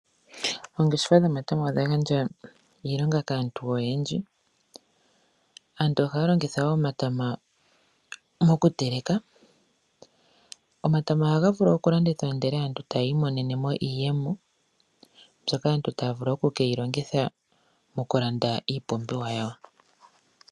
Oongeshefa dhomatama odha gandja iilonga kaantu oyendji aantu ohaya longitha omatama mokuteleka. Omatama ohaga vulu okulandithwa ndele etaya imonenemo iiyemo mbyoka aantu taya vulu okukeyi longitha mokulanda iipumbiwa yawo.